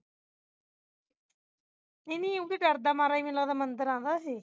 ਨਹੀਂ ਨਹੀਂ ਉਹ ਵੀ ਡਰਦਾ ਮਾਰਾ ਮੈਨੂੰ ਲਗਦਾ ਮੰਦਰ ਆਉਂਦਾ ਇਹੇ